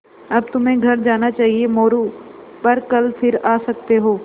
अब तुम्हें घर जाना चाहिये मोरू पर कल फिर आ सकते हो